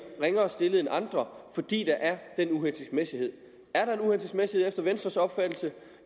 ringere stillet end andre fordi der er den uhensigtsmæssighed er der efter venstres opfattelse